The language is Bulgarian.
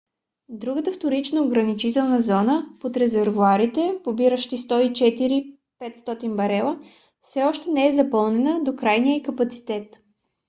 другата вторична ограничителна зона под резервоарите побиращи 104 500 барела все още не е запълнена до крайния ѝ капацитет